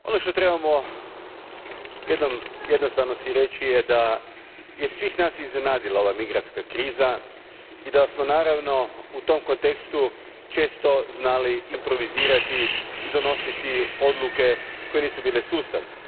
Gospodine predsjedniče, ono što si trebamo jednom jednostavno reći je da je svih nas iznenadila ova migrantska kriza i da smo naravno u tom kontekstu često znali improvizirati i donositi odluke koje nisu bile sustavne.